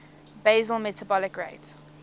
basal metabolic rate